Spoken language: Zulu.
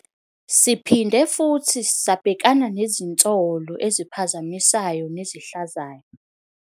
Siphinde futhi sabhekana nezinsolo eziphazamisayo nezihlazayo.